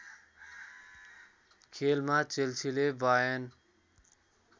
खेलमा चेल्सीले वायर्न